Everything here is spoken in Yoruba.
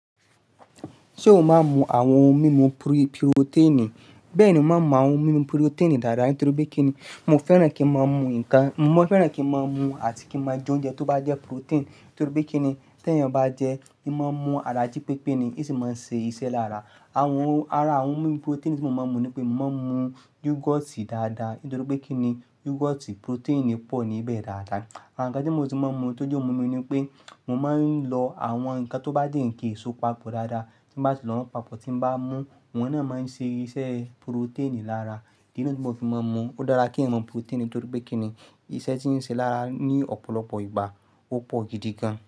Ṣé o máa ń mu àwọn ohun mímu pri purotiinì? Bẹ́ẹ̀ni, mo máa ń mu àwọn ohun mímu purotiinì dáadáa, nítorí pé kí ni, mo fẹ́ràn kí ń máa mu nǹkan, mo mọn fẹ́ràn kí ń máa mu àti kí máa jẹ oúnjẹ tó bá jẹ́ purotin, nítorí pé kí ni, tí èèyàn bá jẹ ín máa ń mu ara jí pépé ni, i sì máa ń se iṣẹ́ lára. Àwọn ohun, ara àwọn ohun mímu purotinì tí mo máa ń mu ni pé mo máa ń mu yúgọ́tì dáadáa, nítorí pé kí ni, yúgọ́tì purotinì pọ̀ níbẹ̀ dáadáa. Àwọn nǹkan tí mo ti máa ń mu tó jẹ́ ohun mímu ni pé mo máa ń lo àwọn nǹkan tó bá jẹ́ ǹkan èso papọ̀ dáadáa. Tí n bá ti lọ́wọ́ papọ̀ tí n bá mú, wọ́n náà máa ń ṣe iṣẹ́ purotinì lára. Kílode ti mo fi máa ń mu, ó dára kí èèyàn maa mu purotinì, nítorí pé kí ni, iṣẹ́ tí ń ṣe lára ní ọ̀pọ̀lọpọ̀ ìgbà ó pọ̀ gidi gan.